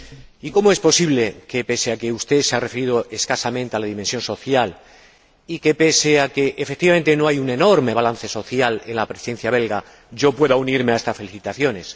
Y, ¿cómo es posible que, pese a que usted se ha referido escasamente a la dimensión social y pese a que, efectivamente, no hay un enorme balance social en la Presidencia belga, yo pueda unirme a estas felicitaciones?